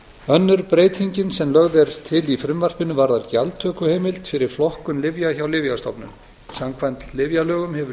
önnur breytingin sem lögð er til í frumvarpinu varðar gjaldtökuheimild fyrir flokkun lyfja hjá lyfjastofnun samkvæmt lyfjalögum hefur